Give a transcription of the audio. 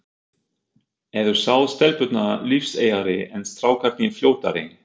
Eru þá stelpurnar lífseigari, en strákarnir fljótari?